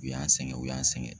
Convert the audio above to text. U y'an sɛgɛn u y'an sɛgɛn